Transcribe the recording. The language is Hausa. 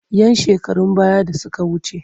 ‘Yan shekarun baya da suka wuce.